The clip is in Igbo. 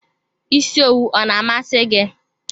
Isi owu ọ na amasi gị?